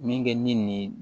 Min kɛ min ni